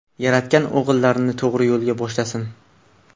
Yaratgan o‘g‘rilarni to‘g‘ri yo‘lga boshlasin.